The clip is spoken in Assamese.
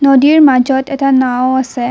নদীৰ মাজত এটা নাওঁ আছে।